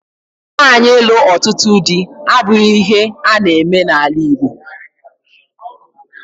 Nwaanyị ịlụ ọtụtụ di abụghị ihe a na-eme n'ala Igbo.